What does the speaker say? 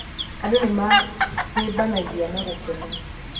Andũ nĩ mahĩmbanagia na gũkena.